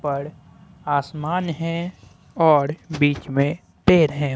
ऊपर आसमान है और बीचे में पेड़ हैं।